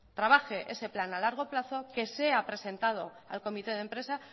trabaje ese plan a largo plazo que sea presentado al comité de empresa